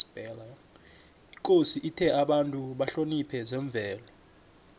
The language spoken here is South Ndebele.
ikosi ithe abantu bahloniphe zemvelo